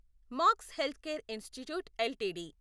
max healthcare institute LTD